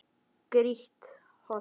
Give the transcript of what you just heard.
Grýtt holt.